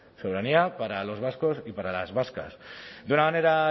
soberanía para los vascos y para las vascas de una manera